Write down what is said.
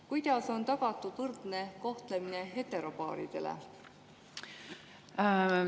Kuidas on tagatud võrdne kohtlemine heteropaaridele?